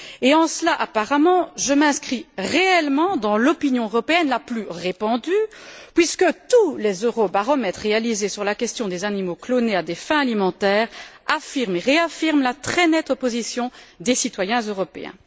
Et en cela, apparemment, je m'inscris réellement dans l'opinion européenne la plus répandue, puisque tous les eurobaromètres réalisés sur la question des animaux clonés à des fins alimentaires affirment et réaffirment la très nette opposition des citoyens européens.